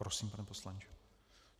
Prosím, pane poslanče.